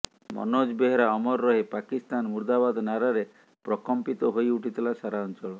ମନୋଜ ବେହେରା ଅମର ରହେ ପାକିସ୍ତାନ ମୁର୍ଦ୍ଦାବାଦ ନାରାରେ ପ୍ରକମ୍ପିତ ହୋଇ ଉଠିଥିଲା ସାରା ଅଞ୍ଚଳ